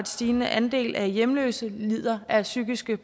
stigende andel af hjemløse lider af psykiske